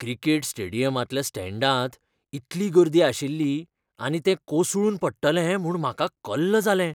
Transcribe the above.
Cricket स्टेडियमांतल्या स्टँडांत इतली गर्दी आशिल्ली आनी तें कोसळून पडटलें म्हूण म्हाका कल्ल जालें.